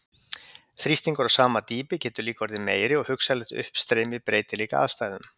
Þrýstingur á sama dýpi getur líka orðið meiri og hugsanlegt uppstreymi breytir líka aðstæðum.